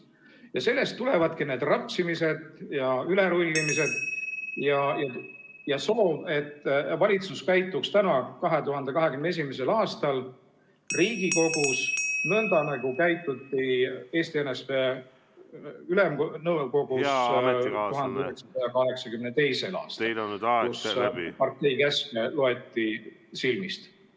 Ja sellest tulevadki need rapsimised ja ülerullimised ja soov, et valitsus käituks täna, 2021. aastal Riigikogus nõnda, nagu käituti Eesti NSV Ülemnõukogus 1982. aastal, kui partei käske loeti silmist.